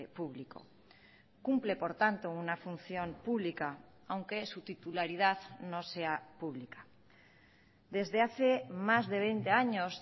público cumple por tanto una función pública aunque su titularidad no sea pública desde hace más de veinte años